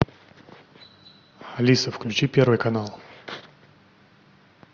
алиса включи первый канал